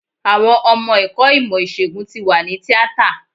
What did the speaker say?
Àwọn ọmọ ẹ̀kọ́ ìmọ̀ ìsègùn tí wà ní tíátà.